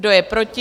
Kdo je proti?